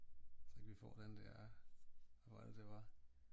Så kan vi få den der hvad var det det var?